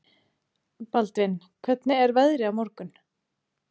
Baldvin, hvernig er veðrið á morgun?